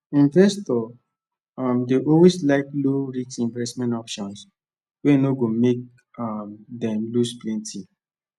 investors um dey always like lowrisk investment options wey no go make um them loose plenty